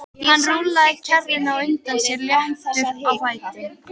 Hann rúllaði kerrunni á undan sér léttur á fæti.